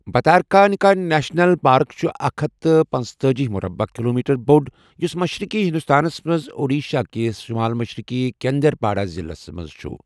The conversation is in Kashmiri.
بھتَارکانیکا نیشنل پارك چُھ اکھ ہتھ تہٕ پنتأجی مُربعہِ کِلومیٖٹَر بوٛڈ یُس مَشرِقی ہِنٛدُستانَس مَنٛز اوڈیٖشہ کِس شُمال مَشرِقی کینٛدرپاڈا ضِلَعہَس منٛز چُھ۔